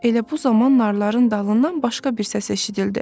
Elə bu zaman narların dalından başqa bir səs eşidildi.